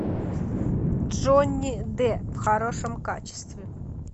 джонни депп в хорошем качестве